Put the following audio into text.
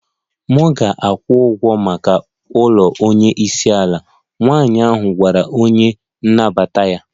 M ga-akwụ ụgwọ maka ụlọ onye isi ala, nwanyị ahụ gwara onye na-anabata ya